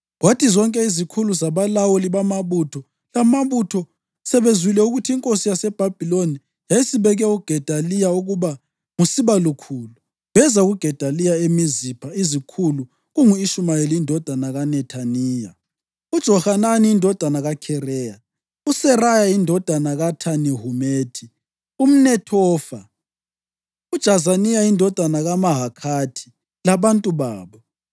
Kwathi zonke izikhulu zabalawuli bamabutho lamabutho sebezwile ukuthi inkosi yaseBhabhiloni yayisibeke uGedaliya ukuba nguSibalukhulu, beza kuGedaliya eMizipha izikhulu kungu-Ishumayeli indodana kaNethaniya, uJohanani indodana kaKhareya, uSeraya indodana kaThanihumethi umNethofa, uJazaniya indodana kaMahakhathi, labantu babo.